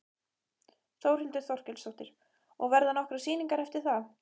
Þórhildur Þorkelsdóttir: Og verða nokkrar sýningar eftir það?